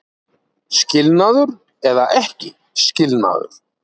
Skilnaður eða ekki skilnaður